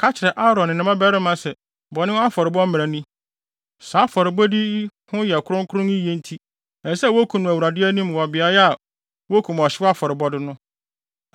“Ka kyerɛ Aaron ne ne mmabarima sɛ bɔne afɔrebɔ ho mmara ni: ‘Saa afɔrebɔde yi ho yɛ kronkron yiye enti ɛsɛ sɛ wokum no Awurade anim wɔ beae a wokum ɔhyew afɔrebɔde no.